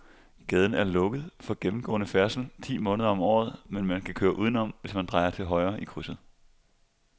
Gaden er lukket for gennemgående færdsel ti måneder om året, men man kan køre udenom, hvis man drejer til højre i krydset.